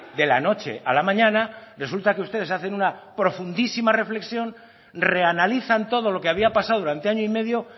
de la noche a la mañana resulta que ustedes hacen una profundísima reflexión reanalizan todo lo que había pasado durante año y medio